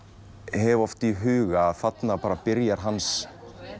hef oft í huga þarna byrjar hans